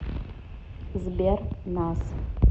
сбер нас